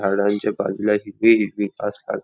झाडांच्या बाजूला हिरवी हिरवी घास आ--